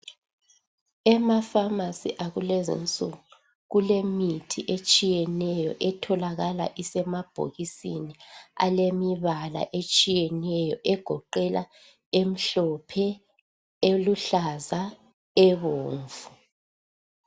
Ema pharmacy akulezinsuku kulemithi etshiyeneyo etholakala isemabhokisini alemibala etshiyeneyo egoqela emhlophe eluhlaza ebomvu